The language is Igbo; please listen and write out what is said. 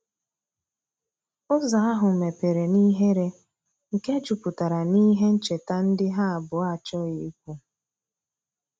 Ụzo ahu mepere n'ihere nke juputara n'ihe ncheta ndi ha abuo achoghi ikwu